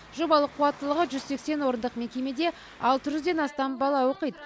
жобалық қуаттылығы жүз сексен орындық мекемеде алты жүзден астам бала оқиды